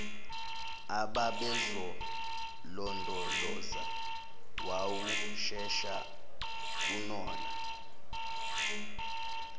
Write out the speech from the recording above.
ababezolondoloza wawushesha kunalona